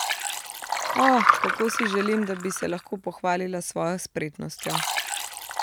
O, kako si želim, da bi se lahko pohvalila s svojo spretnostjo.